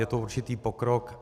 Je to určitý pokrok.